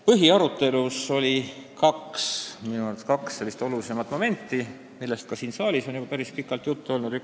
Põhiarutelus oli minu arvates kaks olulisemat momenti, millest ka siin saalis on päris pikalt juttu olnud.